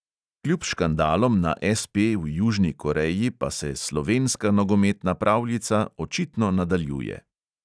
Kljub škandalom na SP v južni koreji pa se "slovenska nogometna pravljica" očitno nadaljuje.